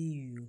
iyo